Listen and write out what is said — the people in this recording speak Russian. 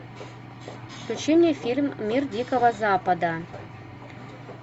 включи мне фильм мир дикого запада